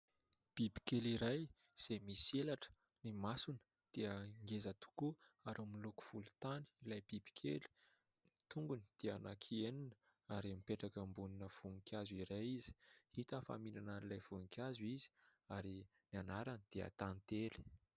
Bibikely iray izay misy elatra, ny masony dia ngeza tokoa ary miloko volontany ilay bibikely, ny tongony dia anankienina ary mipetraka eo ambonina voninkazo iray izy ; hita fa mihinana ilay voninkazo izy ary ny anarany dia"tantely".